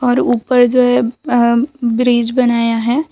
और ऊपर जो है अ ब्रिज बनाया है।